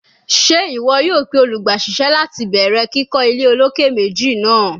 Ṣe iwọ yoo pe olugbaisese lati bẹrẹ kikọ ile oloke meji naa?